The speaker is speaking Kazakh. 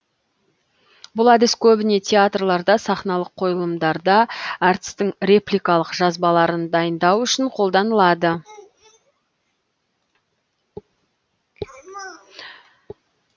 бұл әдіс көбіне театрларда сахналық қойылымдарда әртістің репликалық жазбаларын дайындау үшін қоланылады